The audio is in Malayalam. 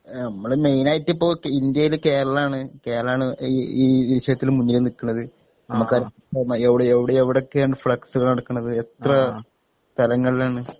ഏ നമ്മള് മൈനായിട്ടിപ്പൊ ഇന്ത്യയില് കേരളാണ് കേരളാണ് ഈ വിഷയത്തില് മുന്നില് നിക്ക്ണത് നമുക്കറിയാം എവ്ടെ എവ്ടെ എവ്ടൊക്കെയാണ് ഫ്ലെക്സുകൾ നടക്ക്ണത് എത്ര തരങ്ങൾലാണ്